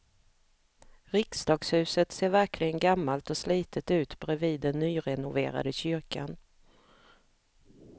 Riksdagshuset ser verkligen gammalt och slitet ut bredvid den nyrenoverade kyrkan.